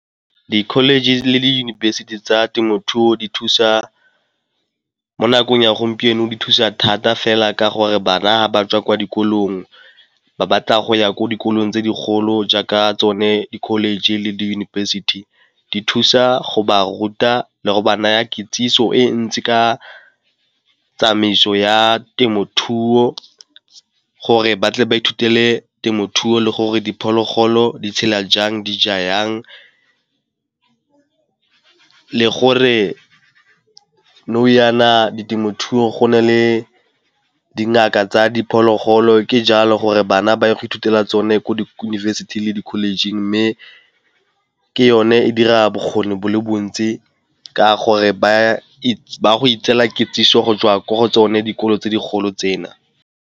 Ke college le diyunibesithi tsa temothuo di thusa, mo nakong ya gompieno di thusa thata fela ka gore bana ba tswa kwa dikolong ba batla go ya ko dikolong tse digolo jaaka tsone di-college le diyunibesithi di thusa go ba ruta le go ba naya kitsiso e ntsi ka tsamaiso ya temothuo gore batle ba ithutele temothuo le gore diphologolo di tshela jang di ja yang teng. Le gore nou yaana di temothuo go na le dingaka tsa diphologolo ke jalo gore bana ba ye go ithutela tsone ko di-university le di-college-ing mme ke yone e dira bokgoni bo le bontsi ka gore baya go itseela kitsiso go jwa ko go tsone dikolo tse di golo tsena.